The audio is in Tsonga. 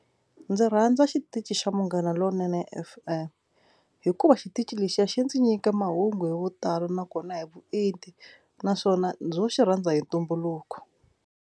Ndzi rhandza xitichi xa Munghana Lonene F_M hikuva xitichi lexiya xi ndzi nyika mahungu hi vutalo nakona hi vuenti naswona ndzo xi rhandza hi ntumbuluko.